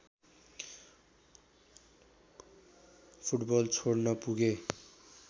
football छोड्न पुगे